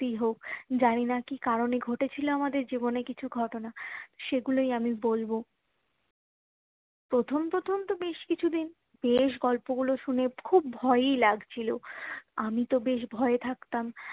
জানিনা কি কারণে এ ঘটেছিলো আমাদের জীবনে কিছু ঘটনা সে গুলোই আমি বলবো প্রথম প্রথম তো বেশ কিছুই দিন বেশ গল্প গুলো শুনে খুব ভয়েই লাগছিলো আমি তো বেশ ভয়ে থাকতাম